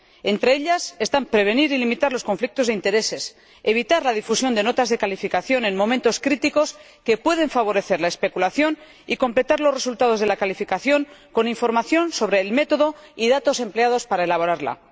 Entre ellas están prevenir y limitar los conflictos de intereses, evitar la difusión de notas de calificación en momentos críticos, que pueden favorecer la especulación, y completar los resultados de la calificación con información sobre el método y los datos empleados para elaborarla.